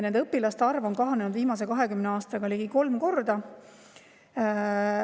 Nende õpilaste arv on kahanenud viimase 20 aastaga ligi kolm korda.